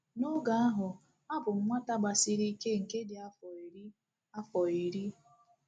N’oge ahụ, abụ m nwata gbasiri ike nke dị afọ iri. afọ iri.